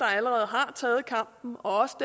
allerede har taget kampen og også